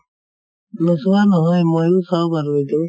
নোচোৱা নহয় ময়ো চাও বাৰু এইটো